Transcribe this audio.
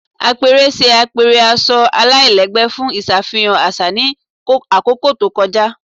Apẹrẹ ṣe apẹrẹ aṣọ alailẹgbẹ fun iṣafihan aṣa ni akoko to kọja